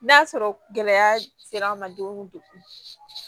N'a sɔrɔ gɛlɛya sera an ma don min de kun